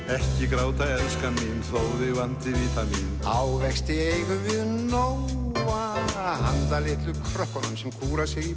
ekki gráta elskan mín þó þig vanti vítamín ávexti eigum við nóga handa litlu krökkunum sem kúra sig í